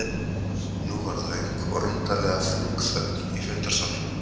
Nú varð löng og undarlega þung þögn í fundarsalnum.